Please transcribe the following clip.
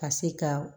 Ka se ka